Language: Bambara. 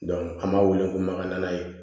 an b'a weele ko makaɲana ye